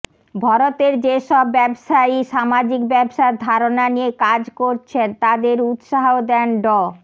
ভরতের যেসব ব্যবসায়ী সামাজিক ব্যবসার ধারণা নিয়ে কাজ করছেন তাঁদের উৎসাহ দেন ড